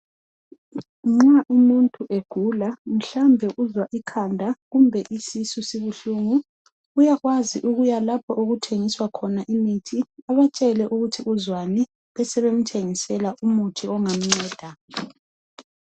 nxa umuntu egula mhlawumbe uzwa ikhanda kumbe isisu uyakwazi ukuya lapha okuthengiswa khona imithi ebatshele ukuthi uzwana besebemthengisela umuthi ongamnceda